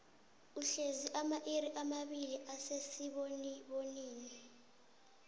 uhlezi amairi amabili asesibonibonini